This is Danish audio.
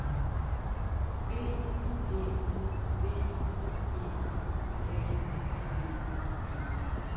B Æ V E N D E